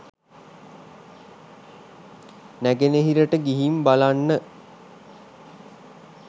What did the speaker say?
නැගෙනහිරට ගිහින් බලන්න